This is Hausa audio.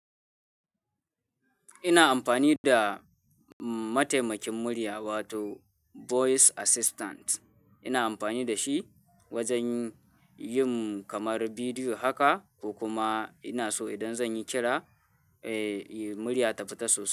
Ina amfani da mataimakin murya wato voice assistant. Ina amfani da shi wajen yin kamar bidiyo haka ko kuma ina so idan zan yi kira, eh, murya ta fita sosai.